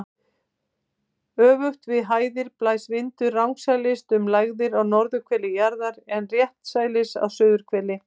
Öfugt við hæðir blæs vindurinn rangsælis um lægðir á norðurhveli jarðar en réttsælis á suðurhveli.